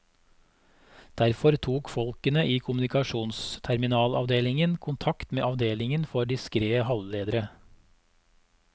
Derfor tok folkene i kommunikasjonsterminalavdelingen kontakt med avdelingen for diskrete halvledere.